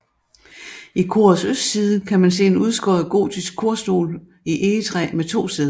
I korets østside kan man se en udskåret gotisk korstol i egetræ med to sæder